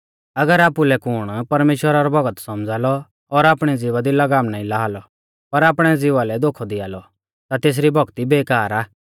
अगर आपुलै कुण परमेश्‍वरा रौ भौगत सौमझ़ा लौ और आपणी ज़िभा दी लगाम नाईं ला लौ पर आपणै ज़िवा लै धोखौ दिया लौ ता तेसरी भौक्ती बेकार आ